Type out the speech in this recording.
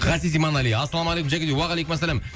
ғазиз иманәли ассалаумағалейкум жәке дейді уағалейкумассалам